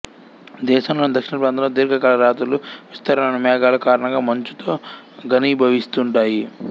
దేశంలోని దక్షిణప్రాంతంలో దీర్ఘాకాల రాత్రులు విస్తారమైన మేఘాల కారణంగా మంచుతో ఘనీభవిస్తుంటాయి